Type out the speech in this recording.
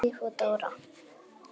Sif og Dóra.